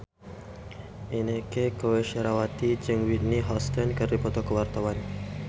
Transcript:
Inneke Koesherawati jeung Whitney Houston keur dipoto ku wartawan